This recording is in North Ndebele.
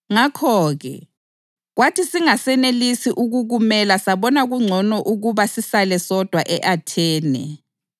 Ngakho-ke, kwathi singasenelisi ukukumela sabona kungcono ukuba sisale sodwa e-Athene.